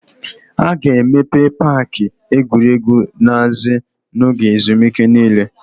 A ga-emepe paaki egwuregwu Naze n'oge ezumike niile.